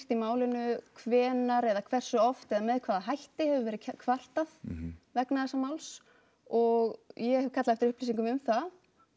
í málinu hvenær eða hversu oft eða með hvaða hætti hefur verið kvartað vegna þessa máls og ég hef kallað eftir upplýsingum um það